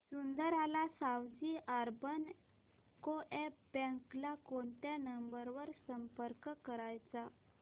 Sundarlal Savji urban co-op bank ला कोणत्या number वर संपर्क करायचा